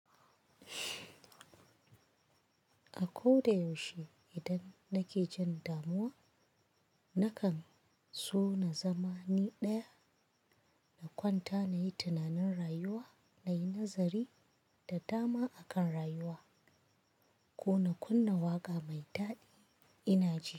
A ko da yaushe idan nake jin damuwa, na kan so na zama ni ɗaya, na kwanta na yi tunanin rayuwa, na yi nazari da dama akan rayuwa. Ko na kunna waƙa mai daɗi ina ji.